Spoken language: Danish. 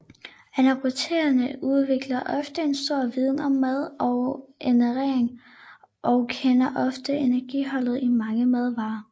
Anorektikere udvikler ofte en stor viden om mad og ernæring og kender ofte energiindholdet i mange madvarer